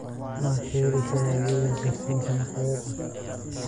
ma ka heli karaa adeega gaarsiinta maqaayadan